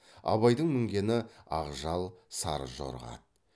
абайдың мінгені ақжал сары жорға ат